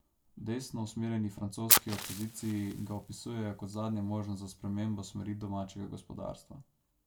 V desno usmerjeni francoski opoziciji ga opisujejo kot zadnjo možnost za spremembo smeri domačega gospodarstva.